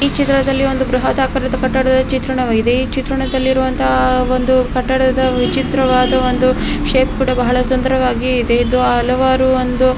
ಈ ಚಿತ್ರದಲ್ಲಿ ಒಂದು ಬೃಹದಾಕಾರದ ಕಟ್ಟಡದ ಚಿತ್ರಣವಾಗಿದೆ. ಈ ಚಿತ್ರಣದಲ್ಲಿರುವಂತಹ ಒಂದು ಕಟ್ಟಡದ ವಿಚಿತ್ರವಾದ ಒಂದು ಶೇಪ್ ಕೂಡಾ ಬಹಳ ಸುಂದರವಾಗಿದೆ. ಇದು ಹಲವಾರು ಒಂದು--